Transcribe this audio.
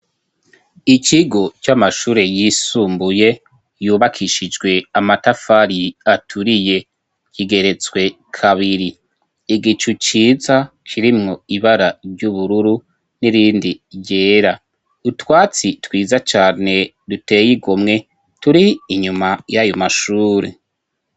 Ikigo c'amashure yisumbuye yubakishijwe amatafari aturiye kigeretswe kabiri. Igicu ciza kirimwo ibara ry'ubururu n'irindi ryera, utwatsi twiza cane dutey'igomwe turi inyuma y'ayomashure.